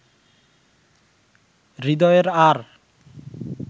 হৃদয়ের আর